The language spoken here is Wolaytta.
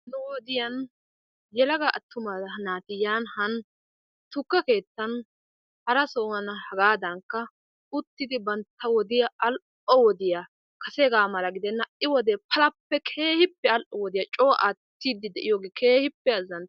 Ha'i wodiyaan yelaga attuma naati yan han tukke keettan hara sohan hagaadankka uttidi bantta wodiyaa all'o wodiyaa kaseegaa mala gidenna ha'i wodee palappe keehippe all'o wodiyaa coo attiiddi de'iyoogee keehippe azanttes.